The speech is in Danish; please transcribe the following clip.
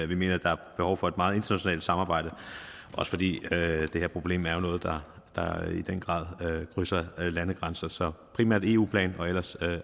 vi mener der er behov for et meget internationalt samarbejde også fordi det her problem i den grad krydser landegrænser så vi primært en eu plan og ellers